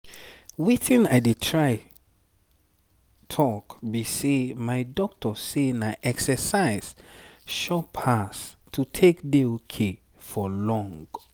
wetin i dey try talk be say my doctor say na exercise sure pass to take dey ok for long.